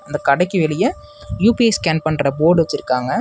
அந்த கடைக்கு வெளிய யு_பி_ஐ ஸ்கேன் பண்ற போர்டு வச்சுருக்காங்க.